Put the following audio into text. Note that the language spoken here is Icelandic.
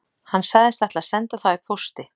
Hann sagðist ætla að senda þá í pósti